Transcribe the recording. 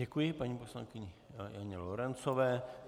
Děkuji paní poslankyně Janě Lorencové.